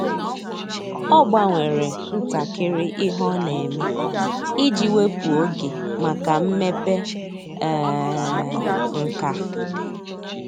Ọ́ gbanwere ntakịrị ihe ọ́ nà-ème iji wèpụ́tá oge màkà mmepe um nkà.